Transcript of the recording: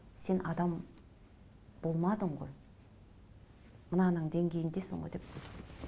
сен адам болмадың ғой мынаның денгейіндесің ғой деп